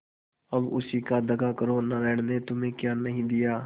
अब उसी से दगा करो नारायण ने तुम्हें क्या नहीं दिया